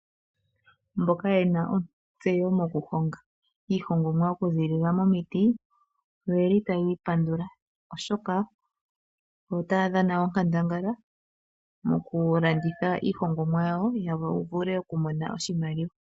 Mboka yena ontseyo mokuhonga iihongomwa okuziilila momiti oyeli taya ipandula, oshoka oyo otaya dhana onkandangala mokulanditha iihongomwa yawo ya vule okumona oshimaliwa.